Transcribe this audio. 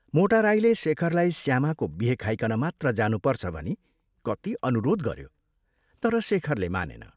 मोटा राईले शेखरलाई श्यामाको बिहे खाइकन मात्र जानुपर्छ भनी कति अनुरोध गऱ्यो तर शेखरले मानेन।